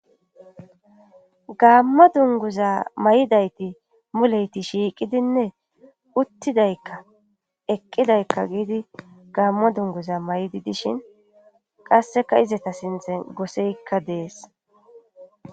Gaammo dunguza may7idayti muleyti shiiqidinne uttidaykka eqqidaykka giidi gaammo dunguza may7idi dishin qasseka izeta sintzen goseykka dees.